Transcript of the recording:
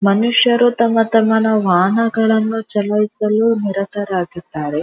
ಮನುಷ್ಯರು ತಮ್ಮ ತಮ್ಮ ವಾಹನಗಳನ್ನು ಚಲಾಯಿಸಲು ನಿರತರಾಗಿದ್ದಾರೆ.